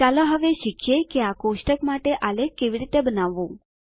ચાલો હવે શીખીએ કે આ કોષ્ટક માટે આલેખ કેવી રીતે બનાવવું